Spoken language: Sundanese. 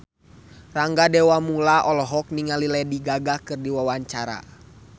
Rangga Dewamoela olohok ningali Lady Gaga keur diwawancara